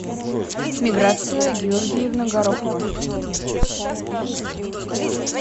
миграция георгиевна горохова